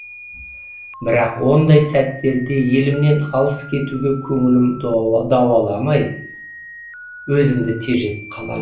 бірақ ондай сәттерде елімнен алыс кетуге көңілім дауаламай өзімді тежеп қаламын